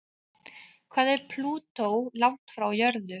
Hvað er Plútó langt frá jörðu?